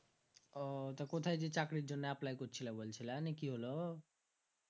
ও তা কোথায় জি চাকরীর জন্য apply করছিলা বলছিলা নি কি হলো